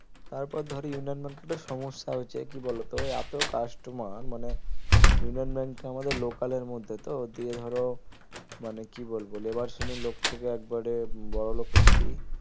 তারপর ধরো union bank একটা সমস্যা হচ্ছে কি বলতো এত customer মানে ইউনিয়ন bank টা আমাদের লোকালের মধ্যে তো দিয়ে ধরো মানে কি বলবো লেবার শ্রেণীর লোক থেকে একেবারে বড়লোক অবদি